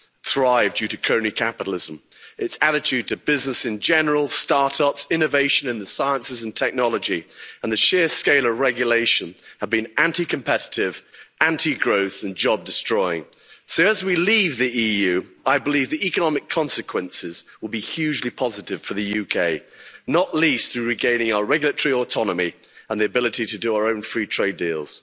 thrive due to crony capitalism. Its attitude to business in general, start-ups, innovation in the sciences and technology and the sheer scale of regulation have been anti competitive, anti growth and job destroying. So, as we leave the EU, I believe the economic consequences will be hugely positive for the UK not least through regaining our regulatory autonomy and the ability to do our own free-trade